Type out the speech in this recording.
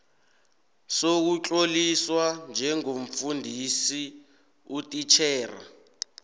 sokutloliswa njengomfundisi utitjhera